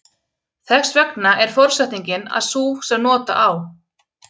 Þess vegna er forsetningin að sú sem nota á.